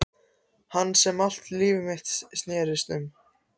Hans sem allt líf mitt snerist um.